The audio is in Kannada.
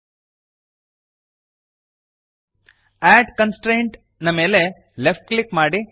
ಅಡ್ ಕಾನ್ಸ್ಟ್ರೇಂಟ್ ಕನ್ಸ್ಟ್ರೇಂಟ್ ನ ಮೇಲೆ ಲೆಫ್ಟ್ ಕ್ಲಿಕ್ ಮಾಡಿರಿ